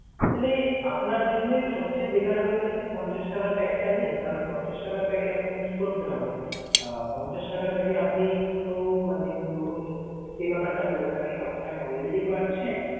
তাইলে আপনার জন্যে সবচেয়ে better হবে যে আপনি পঞ্চাশ টাকার pack টা নিন। কারন পঞ্চাশ টাকার pack এ আপনাকে কি করতে হবে? আহ পঞ্চাশ টাকার pack এ আপনি তো মানে ধরুন যে ব্যাপারটা বললেন আপনি talktime already পাচ্ছেন।